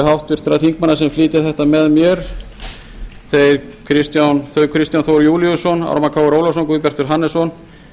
háttvirtra þingmanna sem flytja þetta með mér þau kristján þór júlíusson ármann krónu ólafsson guðbjartur hannesson